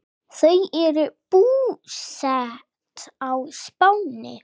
Þau eru búsett á Spáni.